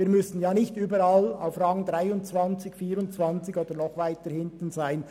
Wir müssen nicht überall auf Rang 23 oder 24 oder noch weiter hinten liegen.